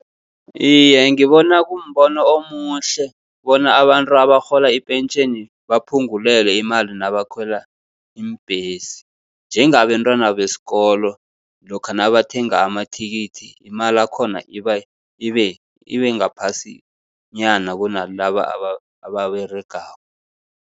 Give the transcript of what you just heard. Iye, ngibona kumbono omuhle bona abantu abarhola ipentjheni baphungulelwe imali nabakhwela iimbhesi. Njengabentwana besikolo lokha nabathenga amathikithi, imali yakhona iba, ibe, ibe ngaphasinyana kunalaba ababeregako.